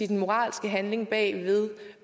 den moralske handling bag ved